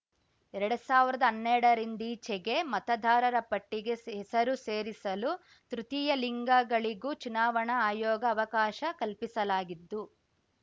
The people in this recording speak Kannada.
ಎರಡ್ ಸಾವಿರ್ದಾ ಹನ್ನೆರಡರಿಂದೀಚೆಗೆ ಮತದಾರರ ಪಟ್ಟಿಗೆ ಹೆಸರು ಸೇರಿಸಲು ತೃತೀಯ ಲಿಂಗಗಳಿಗೂ ಚುನಾವಣಾ ಆಯೋಗ ಅವಕಾಶ ಕಲ್ಪಿಸಲಾಗಿದ್ದು